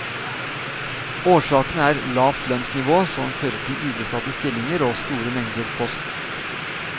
Årsakene er lavt lønnsnivå, som fører til ubesatte stillinger, og store mengder post.